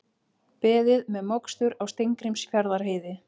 Beðið með mokstur á Steingrímsfjarðarheiði